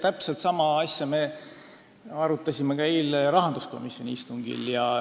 Täpselt sama asja me arutasime ka eile rahanduskomisjoni istungil.